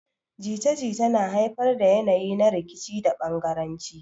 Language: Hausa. Jita-jita na haifar da yanayi na rikici da bangaranci.